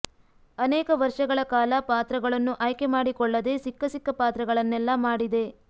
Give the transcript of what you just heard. ಅನೇಕ ವರ್ಷಗಳ ಕಾಲ ಪಾತ್ರಗಳನ್ನು ಆಯ್ಕೆ ಮಾಡಿಕೊಳ್ಳದೆ ಸಿಕ್ಕ ಸಿಕ್ಕ ಪಾತ್ರಗಳನ್ನೆಲ್ಲಾ ಮಾಡಿದೆ